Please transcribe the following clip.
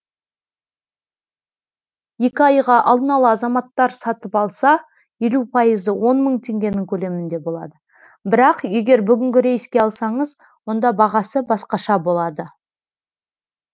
екі айға алдын ала азаматтар сатып алса елу пайыз он мың теңгенің көлемінде болады бірақ егер бүгінгі рейске алсаңыз онда бағасы басқаша болады